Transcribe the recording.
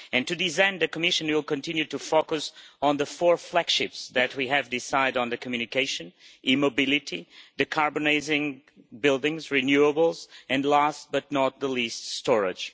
To this end, the Commission will continue to focus on the four flagships that we decided on in the Communication e-mobility, decarbonising buildings, renewables and last but not least storage.